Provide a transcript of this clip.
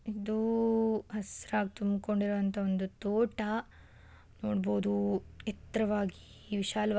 ಇದೂ ಹಸಿರಾಗ್ ತುಂಬ್ಕೊಂಡಿರೋ ಅಂತ ಒಂದು ತೋಟ ನೋಡಬಹುದು ಎತ್ತರವಾಗಿ ವಿಶಾಲವಾಗಿ --